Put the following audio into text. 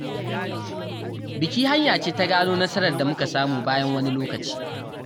Biki hanya ce ta gano nasarar da muka samu bayan wani lokaci.